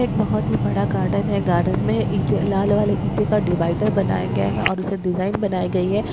एक बहुत ही बड़ा गार्डन है गार्डन में ईटे लाल वाले ईटे का डिवाइडर बनाया गया हैऔर उसे डिजाइन बनाई गई है।